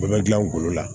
Bɛɛ bɛ gilan ngolo la